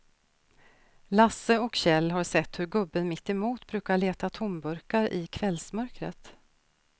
Lasse och Kjell har sett hur gubben mittemot brukar leta tomburkar i kvällsmörkret.